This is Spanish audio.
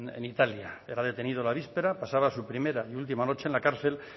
en italia era detenido la víspera pasaba su primera y última noche en la cárcel